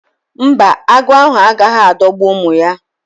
Mba, agụ ahụ agaghị adọgbu ụmụ ya